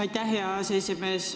Aitäh, hea aseesimees!